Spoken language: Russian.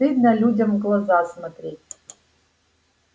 стыдно людям в глаза смотреть